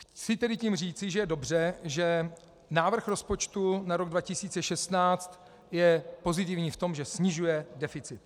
Chci tedy tím říci, že je dobře, že návrh rozpočtu na rok 2016 je pozitivní v tom, že snižuje deficit.